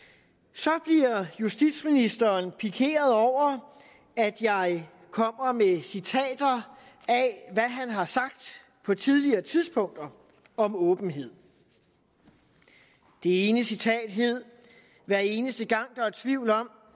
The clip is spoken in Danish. så bliver justitsministeren pikeret over at jeg kommer med citater af hvad han har sagt på tidligere tidspunkter om åbenhed det ene citat hed hver eneste gang der er tvivl om